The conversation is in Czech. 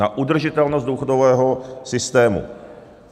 Na udržitelnost důchodového systému.